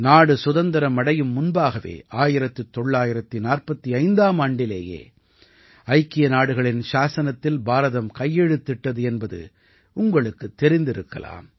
நாடு சுதந்திரம் அடையும் முன்பாகவே 1945ஆம் ஆண்டிலேயே ஐக்கிய நாடுகளின் சாஸனத்தில் பாரதம் கையெழுத்திட்டது என்பது உங்களுக்குத் தெரிந்திருக்கலாம்